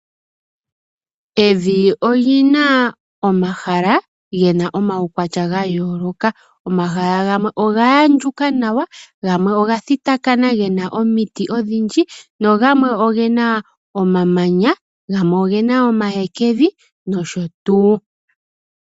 Evi olina omahala gena omaukwatya ga yooloka. Omahala gamwe oga andjuka nawa , gamwe oga thitakana gena omiti odhindji nogamwe ogena omamanya, gamwe ogena omahekevi nosho tuu.